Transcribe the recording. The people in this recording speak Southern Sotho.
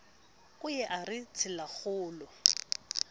o ye a re tselakgolo